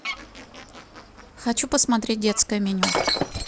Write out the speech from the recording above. хочу посмотреть детское меню